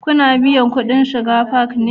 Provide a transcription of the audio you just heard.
Ku na biyan kudin shiga fak ne?